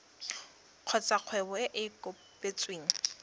kgotsa kgwebo e e kopetsweng